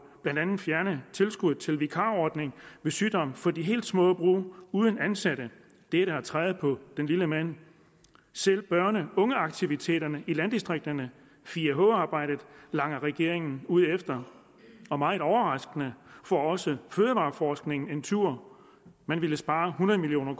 blandt andet fjerner tilskuddet til vikarordningen ved sygdom for de helt små brug uden ansatte det er da at træde på den lille mand selv børn og ungeaktiviteterne i landdistrikterne 4h arbejdet langer regeringen ud efter og meget overraskende får også fødevareforskningen en tur man ville spare hundrede million